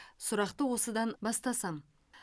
сұрақты осыдан бастасам